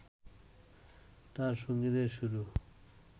তাঁর সঙ্গীতের শুরু